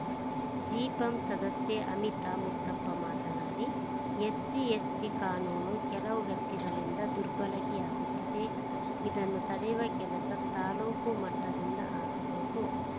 ಜಿಪಂ ಸದಸ್ಯೆ ಅಮಿತಾ ಮುತ್ತಪ್ಪ ಮಾತನಾಡಿ ಎಸ್ಸಿ ಎಸ್ಟಿಕಾನೂನು ಕೆಲವು ವ್ಯಕ್ತಿಗಳಿಂದ ದುರ್ಬಳಕೆಯಾಗುತ್ತಿದೆ ಇದನ್ನು ತಡೆಯುವ ಕೆಲಸ ತಾಲೂಕು ಮಟ್ಟದಿಂದ ಆಗಬೇಕು